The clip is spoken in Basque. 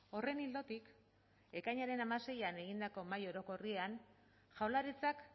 horren ildotik ekainaren hamaseian egindako mahai orokorrean jaurlaritzak